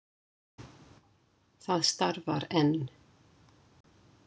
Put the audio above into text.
Það starfar enn.